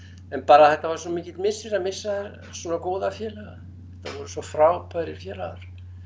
en bara þetta var svo mikill missir að missa svona góða félaga þetta voru svo frábærir félagar